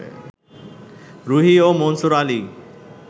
রুহী ও মনসুর আলী